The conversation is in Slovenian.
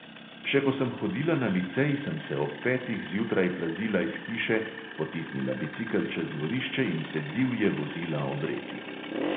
Še ko sem hodila na licej, sem se ob petih zjutraj plazila iz hiše, potisnila bicikel čez dvorišče in se divje vozila ob reki.